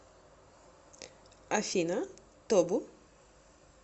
афина тобу